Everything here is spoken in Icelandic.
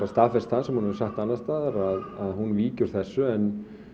staðfest það sem hún hefur sagt annars staðar að hún víki úr þessu en